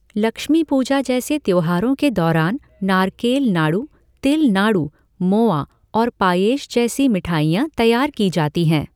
लक्ष्मी पूजा जैसे त्योहारों के दौरान नारकेल नाड़ू, तिल नाड़ू, मोआ और पायेश जैसी मिठाइयाँ तैयार की जाती हैं।